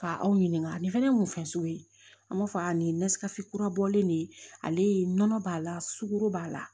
Ka aw ɲininka nin fɛnɛ ye mun fɛn sugu ye an b'a fɔ a nin ye nesikasi kura bɔlen de ale ye nɔnɔ b'a la sugoro b'a la